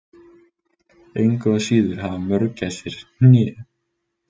Engu að síður hafa mörgæsir hné.